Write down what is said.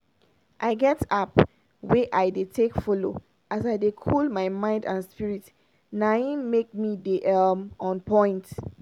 my trainer don talk say don talk say to dey cool mind and spirit dey serious as make pesin dey chop correct food.